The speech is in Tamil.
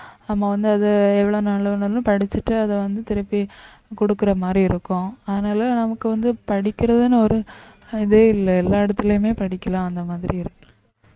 நம்ம வந்து அதை எவ்வளவு நாளா வேணும்னாலும் படிச்சுட்டு அதை வந்து திருப்பி கொடுக்கிற மாதிரி இருக்கும் அதனால நமக்கு வந்து படிக்கறதுன்னு ஒரு இதே இல்ல எல்லா இடத்திலயுமே படிக்கலாம் அந்த மாதிரி இருக்கு